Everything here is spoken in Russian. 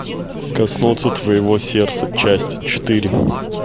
коснуться твоего сердца часть четыре